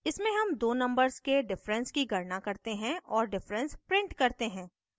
इसमें हम दो numbers के difference की गणना करते हैं और difference print करते हैं